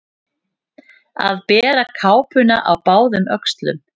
Að bera kápuna á báðum öxlum